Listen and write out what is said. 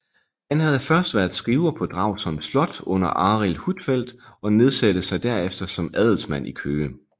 Han havde først været skriver på Dragsholm Slot under Arild Huitfeldt og nedsatte sig derefter som handelsmand i Køge